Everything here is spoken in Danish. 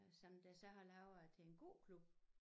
Som der så har lavet en gåklub